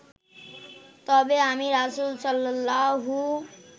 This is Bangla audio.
তবে আমি রাসূল সাল্লাল্লাহু